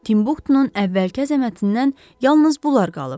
Timbuktunun əvvəlki əzəmətindən yalnız bunlar qalıb.